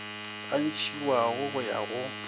a ntšhiwago go ya go